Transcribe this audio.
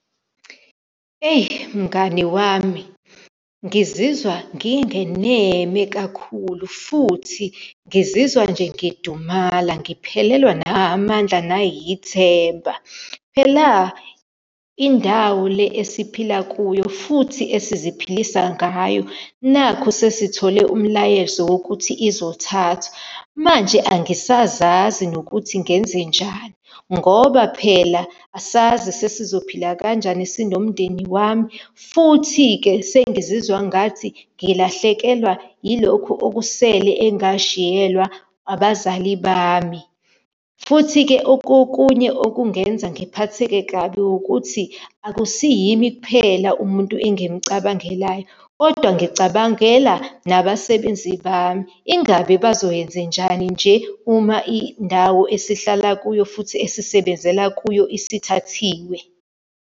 Eyi mngani wami, ngizizwa ngingeneme kakhulu, futhi ngizizwa nje ngidumala, ngiphelelwa nahamandla, nayithemba. Phela, indawo le esiphila kuyo futhi esiziphilisa ngayo, nakhu sesithole umlayezo wokuthi izothathwa. Manje angisazazi nokuthi ngenzenjani, ngoba phela asazi sesizophela kanjani sinomndeni wami, futhi-ke, sengizizwa ngathi ngilahlekelwa ilokhu okusele engashiyelwa abazali bami. Futhi-ke, okunye okungenza ngiphatheke kabi ukuthi akusiyimi kuphela umuntu engimucabangelayo, kodwa ngicabangela nabasebenzi bami. Ingabe bazoyenzenjani nje uma indawo esihlala kuyo futhi esisebenzela kuyo isithathiwe.